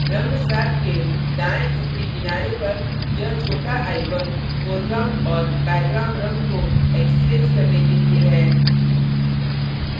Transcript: रंग swaps के दायें ऊपरी किनारे पर यह छोटा icon foreground और background रंग को एक्सचेंज करने के लिए है